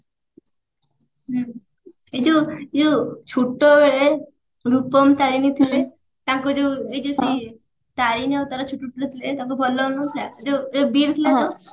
ହୁଁ ଏଇ ଯଉ ଏଇ ଯଉ ଛୋଟୋ ବେଳେ ରୂପମ ତାରେଣୀ ଥିଲେ ତାଙ୍କର ଯଉ ଏଇ ଯଉ ସେଇ ତାରେଣୀ ଆଉ ତାର ଥିଲେ ତାଙ୍କୁ ଭଲ ଲାଗୁନଥିଲା ଏଇ ଯଉ ବୀର୍ ଥିଲା ଯଉ